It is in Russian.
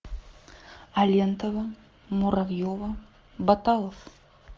алентова муравьева баталов